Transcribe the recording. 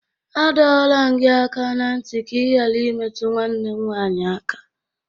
A dọrọ m gị aka na ntị ka ị ghara imetụ nwanne m nwanyị aka!